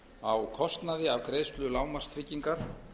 á kostnaði af greiðslu lágmarkstryggingar